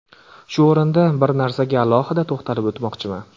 Shu o‘rinda bir narsaga alohida to‘xtatilib o‘tmoqchiman.